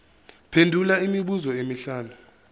phendula imibuzo emihlanu